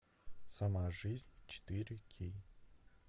сама жизнь четыре кей